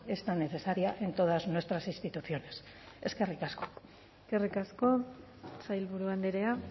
es tan necesaria en todas nuestras instituciones eskerrik asko eskerrik asko sailburu andrea